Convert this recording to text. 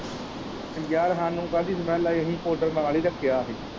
ਯਾਰ ਸਾਨੂੰ ਕਾਹਦੀ ਸਮੇਲ ਆਈ ਅਸੀਂ ਪਾਉਡਰ ਨਾਲ ਹੀ ਰੱਖਿਆ ਹੀ।